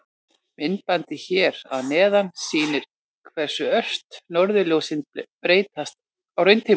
Myndbandið hér að neðan sýnir hversu ört norðurljósin breytast á rauntíma.